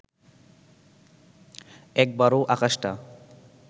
একবারও আকাশটা